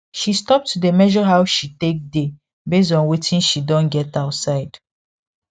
she stop to dey measure how she take dey base on watin she don get outside